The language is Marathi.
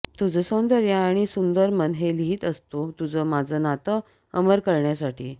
तुझ सौंदर्य आणि सुंदर मन हे लिहीत असतो तुझ माझ नात अमर करण्यासाठी